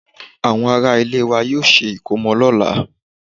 Àwọn ará ilé wa yóò ṣe ìkómọ lọ́la